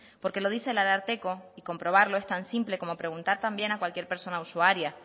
porque lo dice el ararteko y comprobarlo es tan simple como preguntar también a cualquier persona usuaria